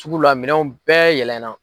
Sugu la minɛnw bɛɛ yɛlɛna.